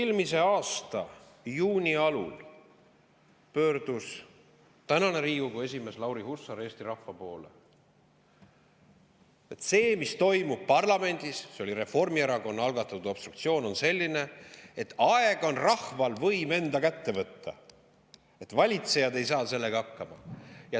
Eelmise aasta juuni alul pöördus tänane Riigikogu esimees Lauri Hussar Eesti rahva poole: see, mis toimub parlamendis, see Reformierakonna algatatud obstruktsioon on selline, et aeg on rahval võim enda kätte võtta, sest valitsejad ei saa sellega hakkama.